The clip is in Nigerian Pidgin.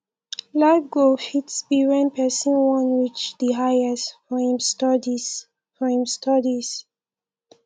life goal fit be when person wan reach di highest for im studies for im studies